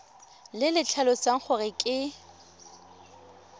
le le tlhalosang gore ke